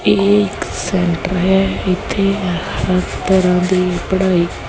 ਇਹ ਇੱਕ ਸੈਂਟਰ ਹੈ ਇੱਥੇ ਹਰ ਤਰ੍ਹਾਂ ਦੀ ਪੜ੍ਹਾਈ--